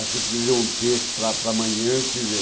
Acho que eu tenho que ler um texto para para amanhã, quer dizer,